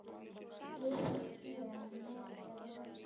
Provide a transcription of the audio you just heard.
Eruð þér með eða móti?